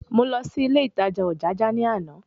Mo lọ sí ilé ìtajà Ojaja ní àná